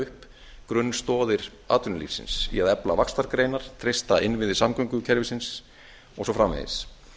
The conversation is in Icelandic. upp grunnstoðir atvinnulífsins í að efla vaxtargreinar treysta innviði samgöngukerfisins og svo framvegis